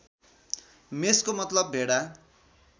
मेषको मतलब भेडा